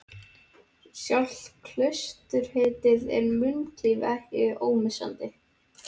Sjálft klausturheitið er munklífinu ekki ómissandi.